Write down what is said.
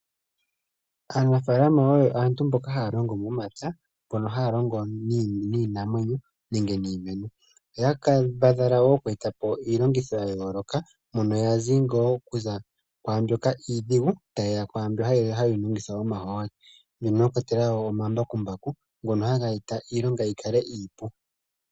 Aanafaalama oyo aantu mboka haya longo momapya, mbono haya longo niimamwenyo nenge niimeno. Oya kambadhala wo oku eta po iilongitho ya yooloka mono yazi ngaa okuza kwaambyoka iidhigu ta yeya ku mbyoka hayi longitha omahooli. Mono mwa kwatelwa wo omambakumbaku ngono haga eta iilonga yi kale iipu.